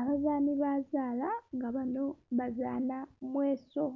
Abazanhi bazaala nga banho bazanha mweso,